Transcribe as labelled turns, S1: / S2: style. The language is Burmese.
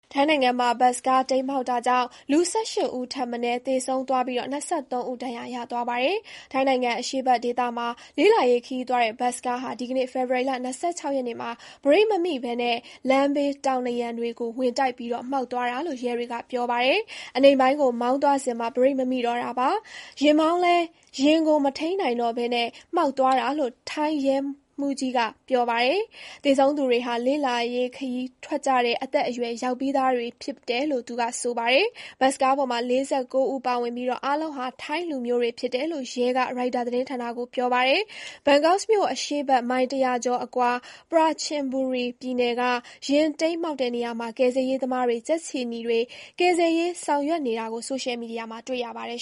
S1: ထိုင်းနိုင်ငံမှာ ဘတ်စ်ကားတိမ်းမှောက်တာကြောင့် (၁၈) ဦးထက်မနည်း သေဆုံးသွားပြီး (၂၃) ဦး ဒဏ်ရာရသွားပါတယ်။ ထိုင်းနိုင်ငံအရှေ့ဘက်ဒေသမှာ လေ့လာရေးခရီးသွားတဲ့ဘတ်စ်ကားဟာ ဒီကနေ့ ဖေဖေါ်ဝါရီ (၂၆) ရက်နေ့မှာ ဘရိတ်မမိဘဲ လမ်းဘေးတောင်နံရံတွေကိုဝင်တိုက်ပြီး မှောက်သွားတာလို့ ရဲတွေက ပြောပါတယ်။ “အနိမ့်ပိုင်းကို မောင်းသွားစဥ်မှာ ဘရိတ်မမိတော့တာပါ။ ယာဥ်မောင်းလည်း ယာဥ်ကို မထိန်းနိုင် တော့ဘဲ မှောက်သွားတာ” လို့ ထိုင်းရဲဗိုလ်မှူးကြီး Sophon Phramaneehe (ဆိုဖွန် ဖရာမနီးဟီး) က ပြောပါတယ်။ သေဆုံးသူတွေဟာ လေ့လာရီးခရီးထွက်ကြတဲ့ အရွယ်ရောက်ပြီးသူတွေ ဖြစ်တယ် လို့လည်း သူက ပြောပါတယ်။ ဘတ်စ်ကားပေါ်မှာ (၄၉) ဦး ပါဝင်ပြီး အားလုံးဟာ ထိုင်းလူမျိုးတွေ ဖြစ်တယ်လို့ ရဲက ရိုက်တာသတင်းဌာနကို ပြောပါတယ်။ ဘန်ကောက်မြို့ အရှေ့ဘက် မိုင် (၁၀၀) ကျော် အကွာ၊ ပရာချင်ဘူရီ ပြည်နယ်က ယာဥ်တိမ်းမှောက်တဲ့ နေရာမှာ ကယ်ဆယ်ရေးသမားတွေ၊ ကြက်ခြေနီတွေ ကယ်ဆယ်ရေးဆောင်ရွက်နေတာကို ဆိုရှယ် မီဒီယာမှာ တွေ့ရပါတယ်